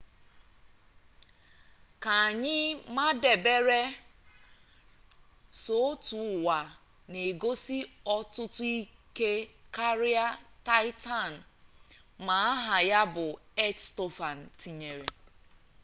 ka anyị madebere sọ otu ụwa na-egosi ọtụtụ ike karịa taịtan ma aha ya bụ earth stofan tinyere